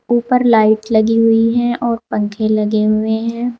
ऊपर लाइट लगी हुई है और पंखे लगे हुए है।